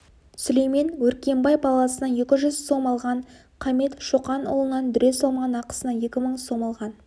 сүлеймен өркенбай баласынан екі жүз сом алған қамит шоқанұлынан дүре салмаған ақысына екі мың сом алған